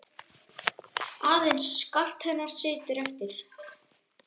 Aðeins skart hennar situr eftir.